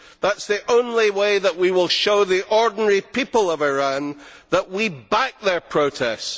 That is the only way that we will show the ordinary people of Iran that we back their protests.